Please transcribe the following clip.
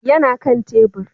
yana Kan tebur